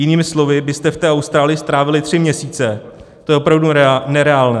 Jinými slovy byste v té Austrálii strávili tři měsíce, to je opravdu nereálné.